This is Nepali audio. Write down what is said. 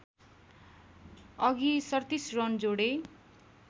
अघि ३७ रन जोडे